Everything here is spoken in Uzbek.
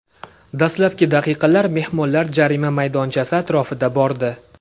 Dastlabki daqiqalar mehmonlar jarima maydonchasi atrofida bordi.